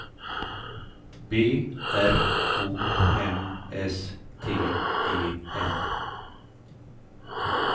B R O M S T E N